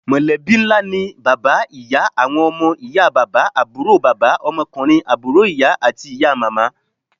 Mọ̀lẹ́bí ńlá ni bàbá, ìyá, àwọn ọmọ, ìyá bàbá, àbúrò bàbà, ọmọkunrin àbúrò ìyá, àti ìyá màmá.